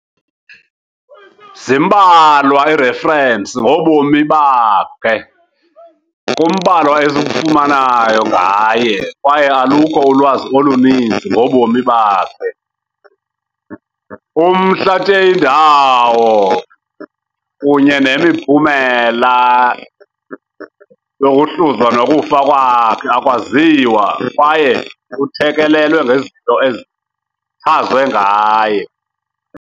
Zimbalwa iirefrensi ngobomi bakhe , kumbalwa esikufumanayo ngaye kwaye alukho ulwazi oluninzi ngobomi bakhe. Umhla teindawockunyennemiphumela yoluzhlwa nokufa kwakhe akwaziwa kwaye kuthekelelwe ngezinto ezichanzwe ngaye.